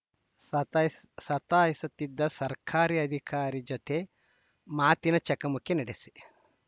ಸತಾಯಿಸ್ ಸತಾಯಿಸುತ್ತಿದ್ದ ಸರ್ಕಾರಿ ಅಧಿಕಾರಿ ಜತೆ ಮಾತಿನ ಚಕಮಕಿ ನಡೆಸಿ